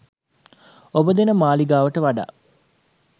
ඔබ දෙන මාලිගාවට වඩා